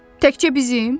Təkcə bizim?